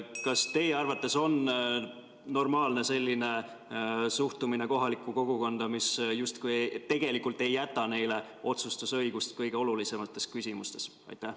Kas teie arvates on normaalne selline suhtumine kohalikku kogukonda, mis tegelikult ei jäta neile otsustusõigust kõige olulisemates küsimustes?